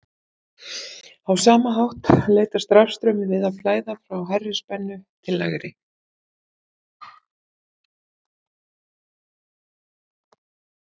á sama hátt leitast rafstraumur við að flæða frá hærri spennu til lægri